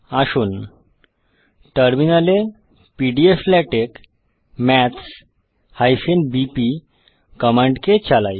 আসুন টার্মিনালে pdflatex maths বিপি কমান্ডকে চালাই